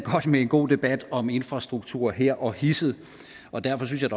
med en god debat om infrastruktur her og hisset og derfor synes jeg